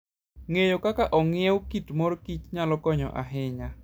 Ng'eyo kaka ong'iew kit mor kich nyalo konyo ahinya.